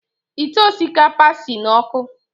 Ite osikapa si n’ọkụ